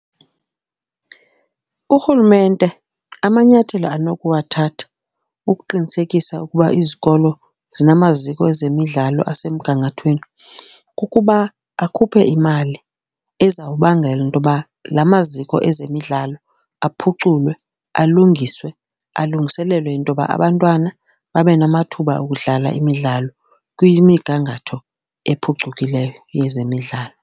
Urhulumente amanyathelo anokuwathatha ukuqinisekisa ukuba izikolo zamaziko ezemidlalo asemgangathweni kukuba akhuphe imali, ezawubangela intoba la maziko ezemidlalo aphuculwe, alungiswe. Alungiselelwe into yoba abantwana babenamathuba okudlala imidlalo kwimigangatho ephucukileyo yezemidlalo.